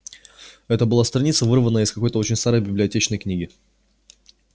это была страница вырванная из какой-то очень старой библиотечной книги